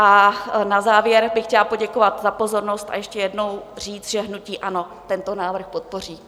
A na závěr bych chtěla poděkovat za pozornost a ještě jednou říct, že hnutí ANO tento návrh podpoří.